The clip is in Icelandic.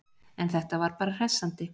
En þetta var bara hressandi!